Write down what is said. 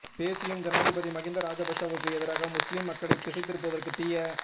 பேசியும் ஜனாதிபதி மஹிந்த ராஜபக்ஷவுக்கு எதிராக முஸ்லிம் மக்களை திசை திருப்புவதற்கு தீய